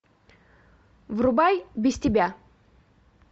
врубай без тебя